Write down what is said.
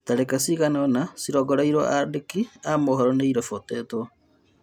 Tharĩka cigana-ona cĩrongoreirio andĩki a mohoro nĩ iribotetwo.